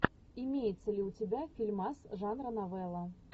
имеется ли у тебя фильмас жанра новелла